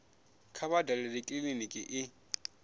kha vha dalele kiliniki i